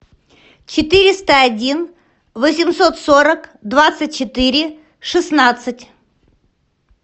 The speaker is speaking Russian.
четыреста один восемьсот сорок двадцать четыре шестнадцать